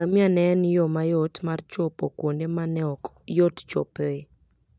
Ngamia ne en yo mayot mar chopo kuonde ma ne ok yot chopoe.